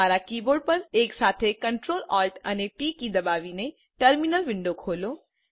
તમારા કીબોર્ડ પર એકસાથે Ctrl Alt ટી દબાવીને ટર્મિનલ વિન્ડો ખોલો